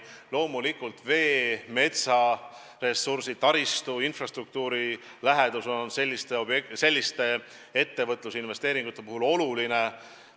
Loomulikult, vee- ja metsaressurss, taristu, infrastruktuuri lähedus on selliste ettevõtete investeeringute puhul olulised.